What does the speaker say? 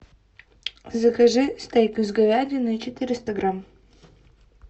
закажи стейк из говядины четыреста грамм